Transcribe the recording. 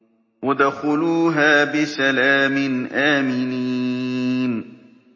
ادْخُلُوهَا بِسَلَامٍ آمِنِينَ